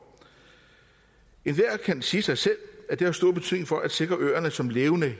enhver kan sige sig selv at det har stor betydning for at sikre øerne som levende